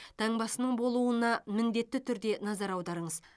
таңбасының болуына міндетті түрде назар аударыңыз